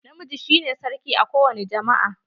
Na miji shi ne sarki a ko wani jama'a.